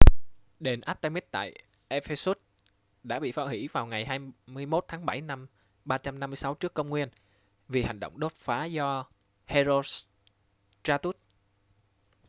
đền artemis tại ephesus đã bị phá hủy vào ngày 21 tháng 7 năm 356 tcn vì hành động đốt phá do herostratus